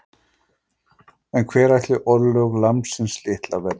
En hver ætli örlög lambsins litla verði?